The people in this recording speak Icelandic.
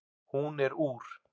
Hún er úr